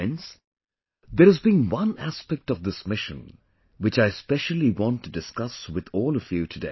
Friends, there has been one aspect of this mission which I specially want to discuss with all of you today